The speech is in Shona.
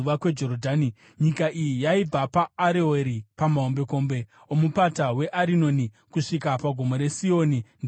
Nyika iyi yaibva paAroeri pamahombekombe oMupata weArinoni kusvika pagomo reSioni (ndiro Herimoni),